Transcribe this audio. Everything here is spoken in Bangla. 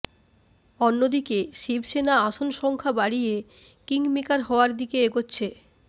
অন্যদিকে শিবসেনা আসন সংখ্যা বাড়িয়ে কিংমেকার হওয়ার দিকে এগোচ্ছে